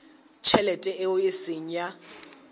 tjhelete eo e seng ya